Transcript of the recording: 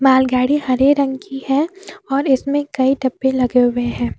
बैलगाड़ी हरे रंग की है और इसमें कई डब्बे लगे हुए हैं।